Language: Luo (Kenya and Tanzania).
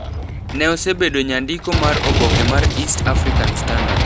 Neosebedo nyandiko mar oboke mar East African Standard.